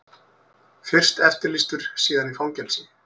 Fyrst eftirlýstur, síðan í fangelsi.